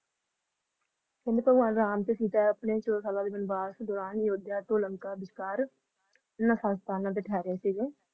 M ਤੇ ਸੀਤਾ ਵਿਸ਼ਵਾਂ ਦੇ ਦੌਰਾਨ ਤਿਹਰੇ ਸੀ